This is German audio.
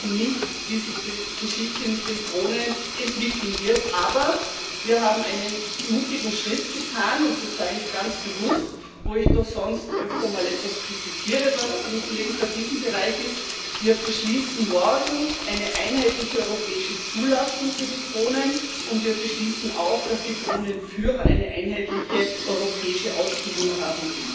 Wir wissen nicht, wie sich die Geschichte mit den Drohnen entwickeln wird, aber wir haben einen mutigen Schritt getan und das sage ich ganz bewusst, wo ich doch sonst öfter mal etwas kritisiere, was im legislativen Bereich ist Wir beschließen morgen eine einheitliche europäische Zulassung für die Drohnen, und wir beschließen auch, dass die Drohnenführer eine einheitliche europäische Ausbildung haben.